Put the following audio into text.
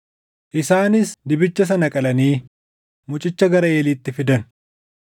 Isaanis dibicha sana qalanii mucicha gara Eeliitti fidan;